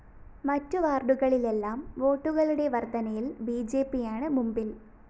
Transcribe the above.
മറ്റ് വാര്‍ഡുകളിലെല്ലാം വോട്ടുകളുടെ വര്‍ദ്ധനയില്‍ ബിജെപിയാണ് മുമ്പില്‍